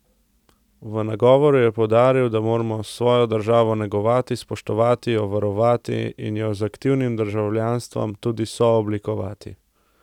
V nagovoru je poudaril, da moramo svojo državo negovati, spoštovati, jo varovati in jo z aktivnim državljanstvom tudi sooblikovati.